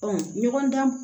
ɲɔgɔn dan